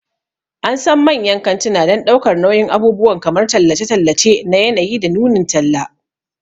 An san manyan kantuna don ɗaukar nauyin abubuwan kamar tallace-tallace na yanayi da nunin talla.